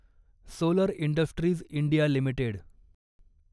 solar industries India limited